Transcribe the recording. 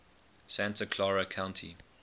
santa clara county